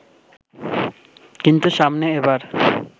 কিন্তু সামনে এবার